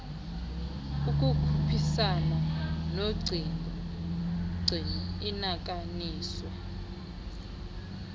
ukukhuphisana nogcino inakaniwe